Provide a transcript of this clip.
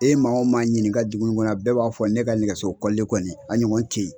E ye maa o maa ɲininka dugu in kɔnɔ yan bɛɛ b'a fɔ ne ka nɛgɛso kɔlilen kɔni a ɲɔgɔn te ye